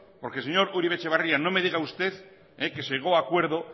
porque señor uribe etxebarria no me diga usted que llegó a acuerdo